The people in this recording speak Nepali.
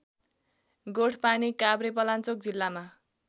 गोठपानी काभ्रेपलाञ्चोक जिल्लामा